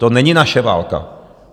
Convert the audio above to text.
To není naše válka.